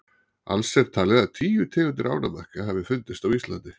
alls er talið að tíu tegundir ánamaðka hafi fundist á íslandi